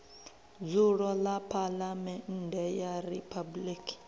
dzulo ḽa phaḽamennde ya riphabuliki